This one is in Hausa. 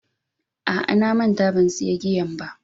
A'a na manta ban siya giyan ba.